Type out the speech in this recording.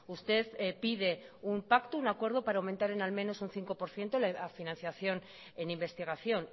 usted pide un pacto un acuerdo para aumentar en al menos un cinco por ciento la financiación en investigación